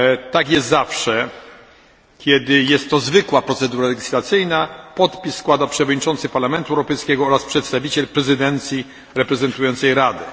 Tak jest zawsze, kiedy jest to zwykła procedura legislacyjna podpis składa przewodniczący Parlamentu Europejskiego oraz przedstawiciel prezydencji reprezentującej Radę.